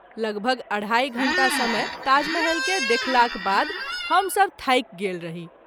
लगभग २.३० घंटा समय ताजमहल के देखलाक बाद हम सभ थाकि गेल रही।